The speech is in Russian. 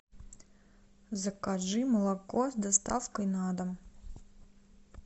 закажи молоко с доставкой на дом